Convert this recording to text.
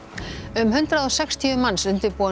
um hundrað og sextíu manns undirbúa